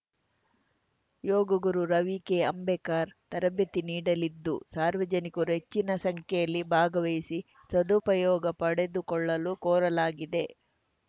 ಯೋಗಗುರು ರವಿ ಕೆಅಂಬೇಕರ್‌ ತರಬೇತಿ ನೀಡಲಿದ್ದು ಸಾರ್ವಜನಿಕರು ಹೆಚ್ಚಿನ ಸಂಖ್ಯೆಯಲ್ಲಿ ಭಾಗವಹಿಸಿ ಸದುಪಯೋಗ ಪಡೆದುಕೊಳ್ಳಲು ಕೋರಲಾಗಿದೆ